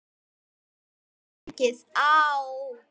Það getur tekið á.